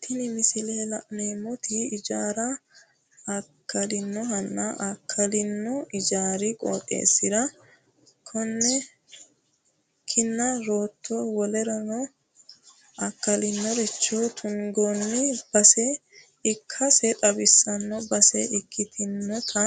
Tini misile la'neemmoti ijaaru akkalinohanna akkalino ijaari qooxeessira kinna rootto wolereno akkalinoricho tungoonni base ikkase xawissanno base ikkitinota